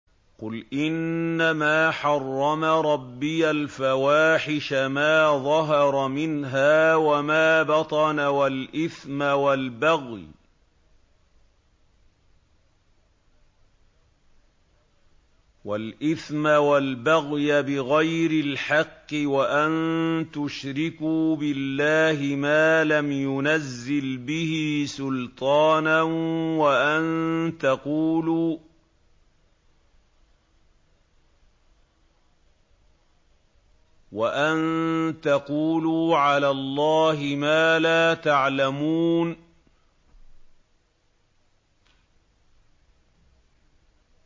قُلْ إِنَّمَا حَرَّمَ رَبِّيَ الْفَوَاحِشَ مَا ظَهَرَ مِنْهَا وَمَا بَطَنَ وَالْإِثْمَ وَالْبَغْيَ بِغَيْرِ الْحَقِّ وَأَن تُشْرِكُوا بِاللَّهِ مَا لَمْ يُنَزِّلْ بِهِ سُلْطَانًا وَأَن تَقُولُوا عَلَى اللَّهِ مَا لَا تَعْلَمُونَ